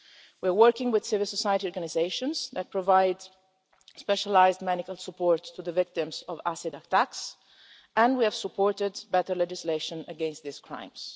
We're working with civil society organisations that provide specialised medical support to the victims of acid attacks, and we have supported better legislation against these crimes.